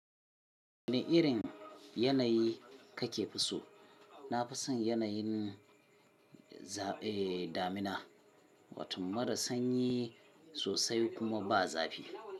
Wane irin yanayi kake fi so? Na fi son yanayin, damina, wato mara sanyi sosai kuma ba'a zafi.